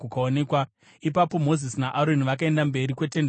Ipapo Mozisi naAroni vakaenda mberi kweTende Rokusangana,